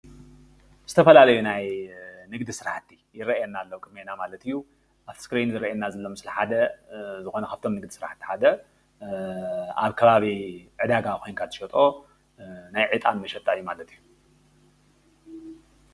ዝተፈላለዩ ናይ ንግዲ ስራሕቲ ኣብ ቅድሜና ኣሎ ኣብቲ እስክሪን ምስሊ ሓደ ኣብ ከባቢ ዕዳጋ ኮይንካ ትሸጦ ናይ ዕጣን መሸጣ እዩ።